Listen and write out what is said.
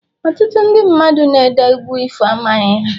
Ọtụtụ ndị mmadụ na-ede egwu ifo, amaghị ha